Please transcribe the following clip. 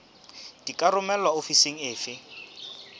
di ka romelwa ofising efe